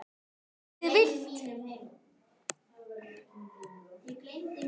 Dálítið villt!